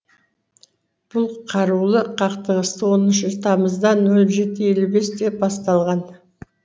бұл қарулы қақтығыс он үш тамызда нөл жеті елу бесте басталған